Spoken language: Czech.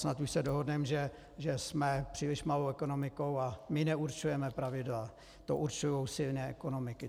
Snad už se dohodneme, že jsme příliš malou ekonomikou a my neurčujeme pravidla, to určují silné ekonomiky.